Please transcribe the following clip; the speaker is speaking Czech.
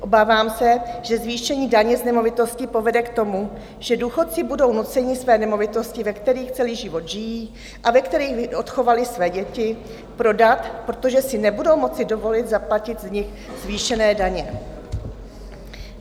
Obávám se, že zvýšení daně z nemovitosti povede k tomu, že důchodci budou nuceni své nemovitosti, ve kterých celý život žijí a ve kterých odchovali své děti, prodat, protože si nebudou moci dovolit zaplatit z nich zvýšené daně.